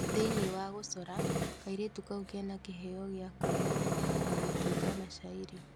Thĩini wa gũcora kairĩtu kau kena kĩbeo kĩa kũina, na gũtunga mashairi